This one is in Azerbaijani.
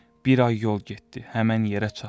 Bir ay yol getdi, həmin yerə çatdı.